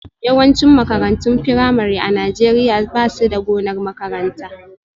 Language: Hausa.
Yawancin makarantun firamare a Najeriya ba su da gonar makaranta